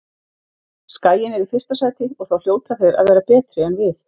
Skaginn er í fyrsta sæti og þá hljóta þeir að vera betri en við.